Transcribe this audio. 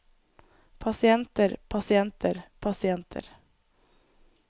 pasienter pasienter pasienter